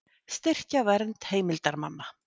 Styrkja vernd heimildarmanna